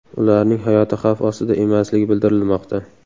Ularning hayoti xavf ostida emasligi bildirilmoqda.